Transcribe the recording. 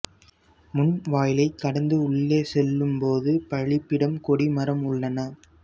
முன் வாயிலைக் கடந்து உள்ளே செல்லும்போது பலிபீடம் கொடி மரம் உள்ளன